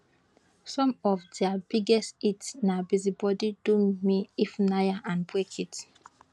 some of dia biggest hits na busy body do me ifunaya and break it